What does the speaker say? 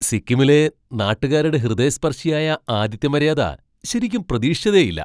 സിക്കിമിലെ നാട്ടുകാരുടെ ഹൃദയസ്പർശിയായ ആതിഥ്യമര്യാദ ശരിക്കും പ്രതീക്ഷിച്ചതേയില്ല.